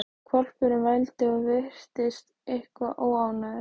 Hvolpurinn vældi og virtist eitthvað óánægður.